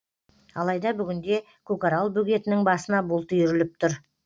алайда бүгінде көкарал бөгетінің басына бұлт үйіріліп тұр